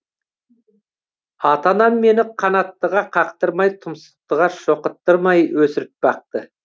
ата анам мені қанаттыға қақтырмай тұмсықтыға шоқыттырмай өсіріп бақты